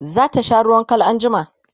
zata sha ruwan Kal anjima?